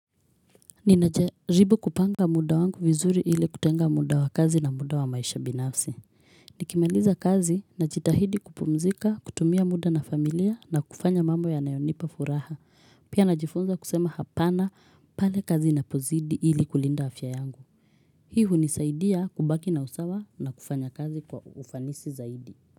Ninajaribu kupanga muda wangu vizuri ili kutenga muda wa kazi na muda wa maisha binafsi Nikimaliza kazi na jitahidi kupumzika kutumia muda na familia na kufanya mambo ya nayonipa furaha Pia najifunza kusema hapana pale kazi na pozidi ili kulinda afya yangu Hi hunisaidia kubaki na usawa na kufanya kazi kwa ufanisi zaidi.